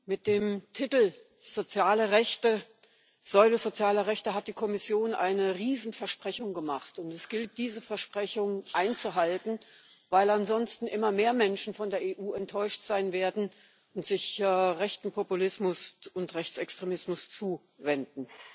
Mit dem Titel Säule sozialer Rechte hat die Kommission eine Riesenversprechung gemacht, und es gilt, diese Versprechung einzuhalten, weil ansonsten immer mehr Menschen von der EU enttäuscht sein werden und sich rechtem Populismus und Rechtsextremismus zuwenden.